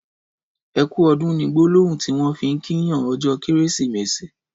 ''Ẹkù ọ̀dùn'' ni gbòlòhùn ọrọ tiwọn fi n kí yàn ọjọ Kẹrẹsimẹsi